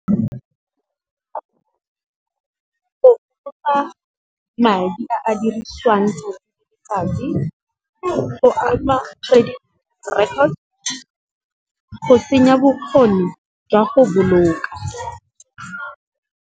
Madi a a dirisiwang go ama credit record, go senya bokgoni jwa go boloka.